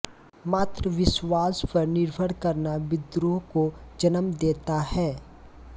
मात्र विश्वास पर निर्भर करना विद्रोह को जनम देता है